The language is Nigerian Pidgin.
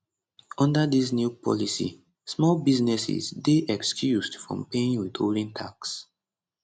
under dis new policy small businesses dey excused from paying withholding tax